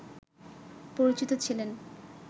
পরিচিত ছিলেন